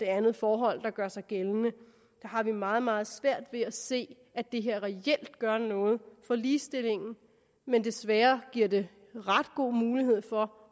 andet forhold gør sig gældende har vi meget meget svært ved at se at det her reelt gør noget for ligestillingen men desværre giver det ret god mulighed for